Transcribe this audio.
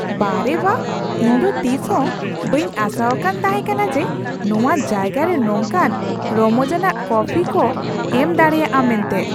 ᱵᱟᱦ ᱨᱮ ᱵᱟᱦ ! ᱤᱧ ᱫᱚ ᱛᱤᱥ ᱦᱚᱸ ᱵᱟᱹᱧ ᱟᱥᱟᱣᱟᱠᱟᱱ ᱛᱟᱦᱮᱠᱟᱱᱟ ᱡᱮ ᱱᱚᱣᱟ ᱡᱟᱭᱜᱟ ᱨᱮ ᱱᱚᱝᱠᱟᱱ ᱨᱚᱢᱚᱡᱟᱱᱟᱜ ᱠᱚᱯᱷᱤ ᱠᱩ ᱮᱢ ᱫᱟᱲᱮᱭᱟᱜᱼᱟ ᱢᱮᱱᱛᱮ ᱾